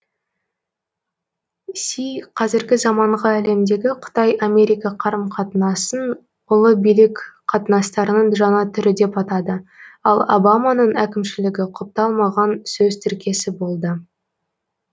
си қазіргі заманғы әлемдегі қытай америка қарым қатынасын ұлы билік қатынастарының жаңа түрі деп атады ол обаманың әкімшілігі құпталмаған сөз тіркесі болды